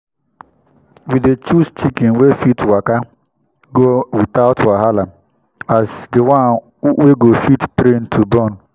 we dey choose chicken wey fit waka go without wahala as di one we go fit train to born.